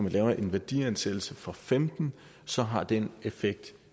laver en værdiansættelse for femten så har den effekt